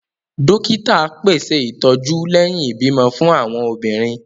Dókítà pèsè ìtọjú lẹhin ibimọ fún awọn obìnrin